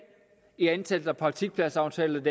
i antallet af indgåede praktikpladsaftaler